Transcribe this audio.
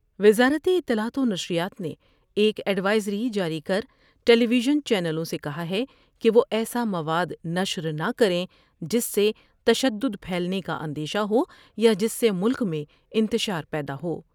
وزارت اطلاعات ونشریات نے ایک ایڈوائزری جاری کر ٹیلی ویزن چینلوں سے کہا ہے کہ وہ ایسا مواد نشر نہ کر یں جس سے تشدد پھیلنے کا اندیشہ ہو یا جس سے ملک میں انتشار پیدا ہو ۔